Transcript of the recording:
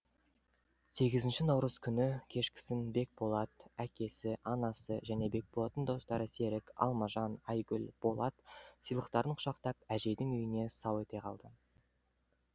сегізінші наурыз күні кешкісін бекболат әкесі анасы және бекболаттың достары серік алмажан айгүл болат сыйлықтарын құшақтап әжейдің үйіне сау ете қалды